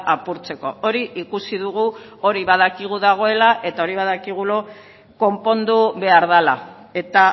apurtzeko hori ikusi dugu hori badakigu dagoela eta hori badakigu konpondu behar dela eta